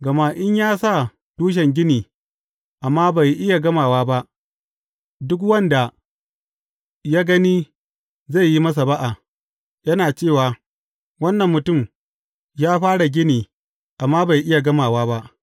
Gama in ya sa tushen gini, amma bai iya gamawa ba, duk wanda ya gani zai yi masa ba’a, yana cewa, Wannan mutum ya fara gini, amma bai iya gamawa ba.’